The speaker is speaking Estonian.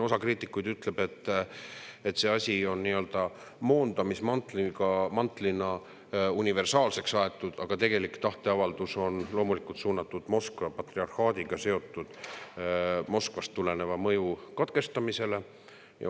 Osa kriitikuid ütleb, et see asi on nii-öelda moondamismantlina universaalseks aetud, aga tegelik tahteavaldus on loomulikult suunatud Moskva patriarhaadiga seotud Moskvast tuleneva mõju katkestamisele.